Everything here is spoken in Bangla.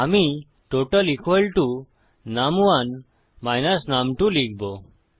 আমি টোটাল নুম1 নুম2 লিখবো